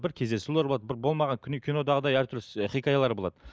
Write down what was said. бір кездесулер болады бір болмаған кинодағыдай әртүрлі хикаялар болады